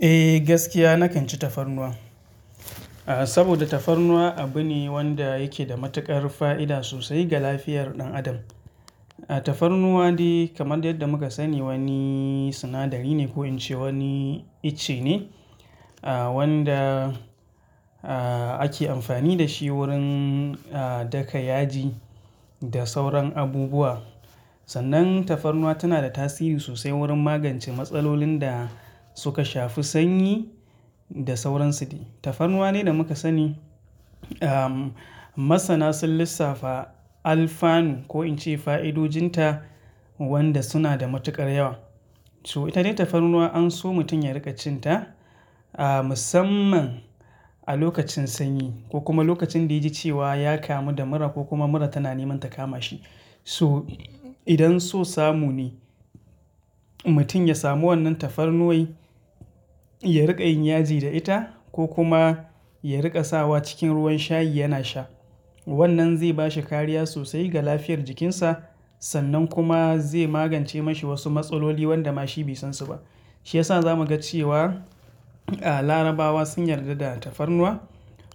Eh gaskiya nakan ci tafarnuwa. Saboda tafarnuwa abu ne wanda yake da matuƙar fa'ida sosai ga lafiyar ɗan adam. Tafarnuwa dai kamar yadda muka sani wani sinadari ne ko in ce wani itace ne wanda ake amfani da shi wurin daka yaji da sauran abubuwa. Sannan tafarnuwa tana da tasiri sosai wurin magance matsalolin da suka shafi sanyi da sauran su dai. Tafarnuwa dai da muka sani masana sun lissafa alfanu ko in ce fa'idojinta wanda suna da matuƙar yawa. So ita dai tafarnuwa an so mutum ya riƙa cin ta musamman a lokacin sanyi ko kuma lokacin da ya ji cewa ya kamu da mura ko kuma mura tana neman ta kama shi. So idan so samu ne mutum ya samu wannan tafarnuwai ya riƙa yin yaji da ita ko kuma ya riƙa sawa cikin ruwan shayi yana sha. Wannan zai bashi kariya sosai ga lafiyar jikinsa sannan kuma zai magance mashi wasu matsaloli wanda ma shi bai san su ba. Shi yasa za mu ga cewa Larabawa sun yarda da tafarnuwa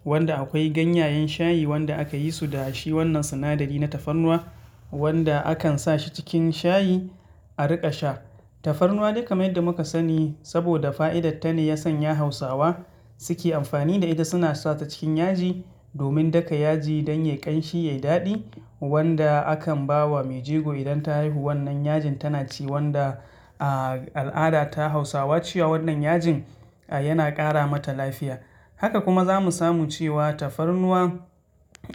wanda akwai ganyayen shayi wanda aka yi su da shi wannan sinadari na tafarnuwa wanda akan sa shi cikin shayi a riƙa sha. Tafarnuwa dai kamar yadda muka sani saboda fa'idarta ne yasanya Hausawa suke amfani da ita suna sawa cikin yaji domin daka yaji don yayi ƙanshi yayi daɗi wanda akan bawa mai jego idan ta haihu wannan yajin tana ci wanda al'ada ta Hausawa cewa wannan yajin yana ƙara mata lafiya. Haka kuma za mu samu cewa tafarnuwa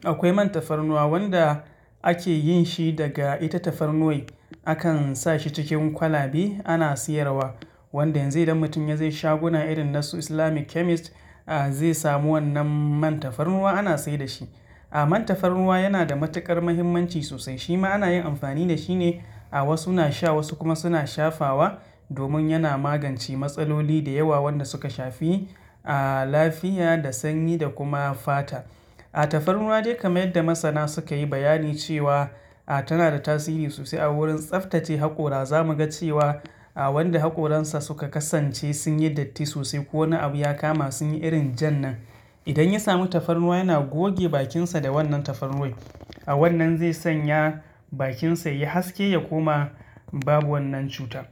akwai man tafarnuwa wanda ake yin shi daga ita tafarnuwai akan sa shi cikin kwalabe ana siyarwa wanda yanzu idan mutum ya je shaguna irin na su Islamic chemist zai samu wannan man tafarnuwa ana sai da shi. Man tafarnuwa yana da matuƙar muhimmanci sosai shima ana yin amfani da shi ne wasu na sha wasu kuma suna shafawa domin yana magance matsaloli da yawa wanda suka shafi lafiya da sanyi da kuma fata. Tafarnuwa dai kamar yadda masana suka yi bayani cewa tana da tasiri sosai a wurin tsaftace haƙora za mu ga cewa wanda haƙoransa suka kasance sun yi datti sosai ko wani abu ya kama sun yi irin jan nan. Idan ya samu tafarnuwa yana goge bakinsa da wannan tafarnuwai. Wannan zai sanya bakinsa ya haske ya koma babu wannan cuta.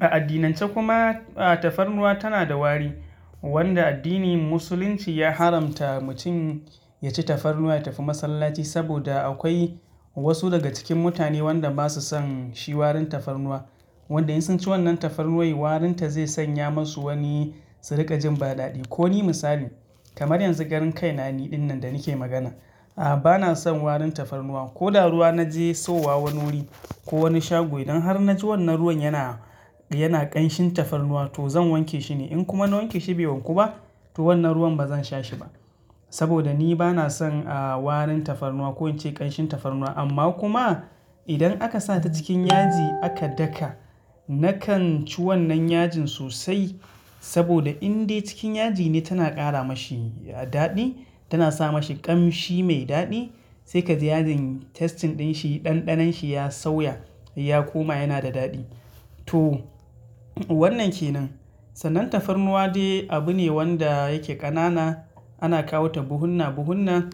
A addinance kuma tafarnuwa tana da wari wanda addinin Musulunci ya haramta mutum ya ci tafarnuwa ya tafi masallaci saboda akwai wasu daga cikin mutane wanda ba su son shi warin tafarnuwa. Wanda in sun ci wannan tafarnuwai warin ta zai sanya masu wani su riƙa jin ba daɗi. Ko ni misali kamar yanzu karen kai na ni ɗin nan da nake magana bana son warin tafarnuwa. Ko da ruwa na je sauwa wani wuri ko wani shago idan har na ji wannan ruwan yana, yana ƙanshin tafarnuwa to zan wanke shi ne. In kuma na wanke shi bai wanku ba to wannan ruwan ba zan sha shi ba. Saboda ni bana son warin tafarnuwa ko in ce ƙanshin tafarnuwa amma kuma idan aka sawa ta cikin yaji aka daka nakan ci wannan yajin sosai saboda in dai cikin yaji ne tana ƙara mashi daɗi tana sa mashi ƙamshi mai daɗi sai ka ji yajin tasting ɗin shi ɗanɗanon shi ya sauya ya koma yana da daɗi. To wannan ke nan. Sannan tafarnuwa dai abu ne wanda yake ƙanana ana kawo ta buhunna buhunna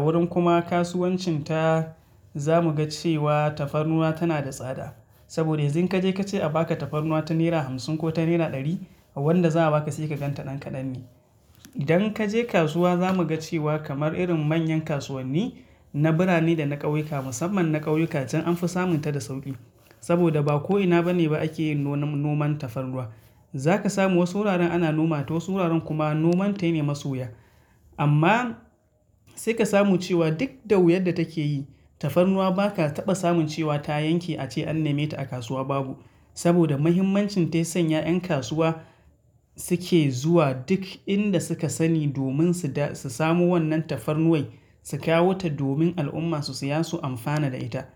wurin kuma kasuwancin ta za mu ga cewa tafarnuwa tana da tsada. Saboda idan kaje kace a baka tafarnuwa ta nera hamsin ko ta naira ɗari wanda za a baka sai ka gan ta ɗan ƙadan ne. Idan kaje kasuwa za mu ga cewa kamar irin manyan kasuwanni na birane da na ƙauyuka musamman na ƙauyuka jan anfi samun ta da sauƙi. Saboda ba ko'ina bane ba ake yin noman tafarnuwa. Za ka samu wasu wuraren ana noma ta wasu wuraren kuma noman ta yana masu wuya. Amma sai ka samu cewa duk da wuyar da take yi tafarnuwa ba ka taɓa samun cewa ta yanke ace an neme ta a kasuwa babu. Saboda muhimmancin ta ya sanya ƴan kasuwa suke zuwa duk inda suka sani domin su samo wannan tafarnuwai su kawo ta domin al'umma su siya su amfana da ita.